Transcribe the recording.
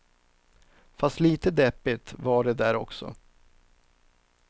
Fast lite deppigt var det där också.